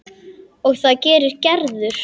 Og það gerir Gerður.